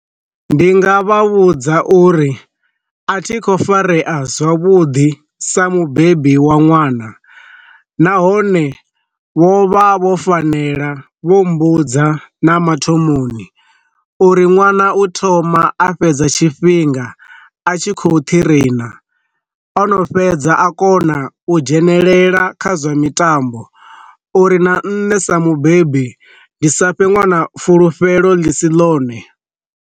Ndi nga vha vhudza uri a thi kho farea zwavhuḓi sa mubebi wa ṅwana, nahone vho vha vho fanela vho mbudza na mathomoni uri ṅwana u thoma a fhedza tshifhinga a tshi khou thi rina, ono fhedza a kona u dzhenelela kha zwa mitambo uri na nṋe sa mubebi ndi sa fhe ṅwana fulufhelo ḽi si ḽone.